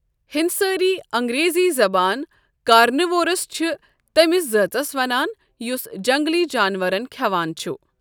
ہِنسٲری انٛگریٖزی زَبان کارنِوورس چھ تٔمِس زٲژَس ونان یس جنگلی جانورَن کھؠوان چھ۔